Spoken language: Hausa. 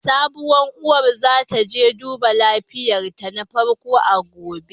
Sabuwar uwar za ta je duba lafiyarta na farko a gobe.